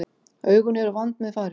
Augun eru vandmeðfarin.